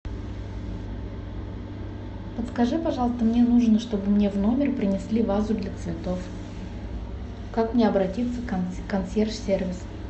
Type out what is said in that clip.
подскажи пожалуйста мне нужно чтобы мне в номер принесли вазу для цветов как мне обратиться в консьерж сервис